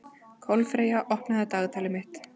Kolfreyja, opnaðu dagatalið mitt.